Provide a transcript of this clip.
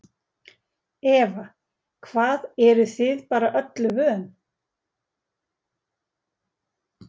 Eva: Hvað eruð þið bara öllu vön?